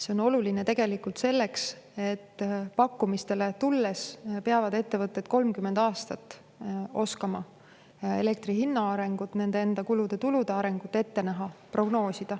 See on oluline tegelikult selleks, et pakkumistele tulles peavad ettevõtted 30 aastaks oskama hinnata elektri hinna arengut, samuti prognoosida nende enda kulude-tulude arengut.